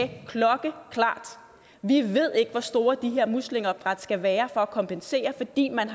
vi ved ikke hvor store de her muslingeopdræt skal være for at kompensere fordi man